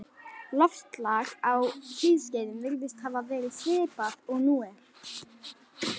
Loftslag á hlýskeiðum virðist hafa verið svipað og nú er.